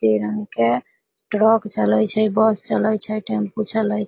बहुते रंग के ट्रैक चले छै बस चले छै टेम्पू चले--